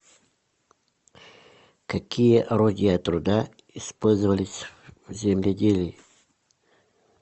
какие орудия труда использовались в земледелии